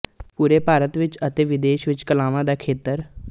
ਪੂਰੇ ਭਾਰਤ ਵਿੱਚ ਅਤੇ ਵਿਦੇਸ਼ਾਂ ਵਿੱਚ ਕਲਾਵਾਂ ਦਾ ਖੇਤਰ